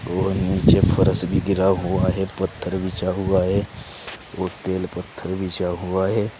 और नीचे फरस भी गिरा हुआ है। पत्थर बिछा हुआ है और तेल पत्थर बिछा हुआ है।